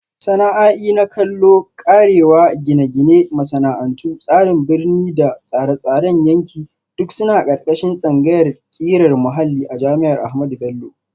Sana'a'i na kallo, karewa, Gine-gine, Masana'antu, Tsarin Birni da Tsare-tsaren yanki duk suna ƙarƙashin tsangayar ƙirar muhalli a jami'ar Ahmadu Bello.